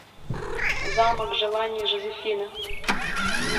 замок желаний жозефины